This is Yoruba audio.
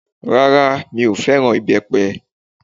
Rárá, mi ò fẹ́ràn ìbẹ́pẹ